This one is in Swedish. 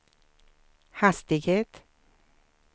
hastighet